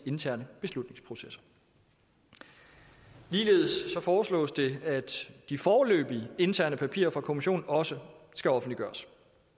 interne beslutningsprocesser ligeledes foreslås det at de foreløbige interne papirer fra kommissionen også skal offentliggøres